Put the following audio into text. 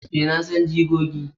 a, na san jigogi